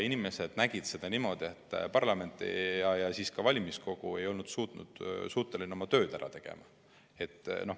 Nad nägid seda niimoodi, et parlament ja seejärel ka valimiskogu ei suutnud oma tööd ära teha.